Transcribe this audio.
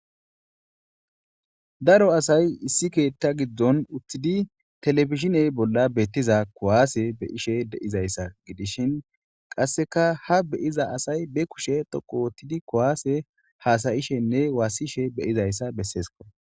daro asay issi keetta giddon uttidi telefishiney bolla beettiza kuwaase beyishe deizayssa gidishin qasseka ha beyiza asay be kushe toqo wottidi kuwaase haasayishenne waassishe beyizayssa besseesko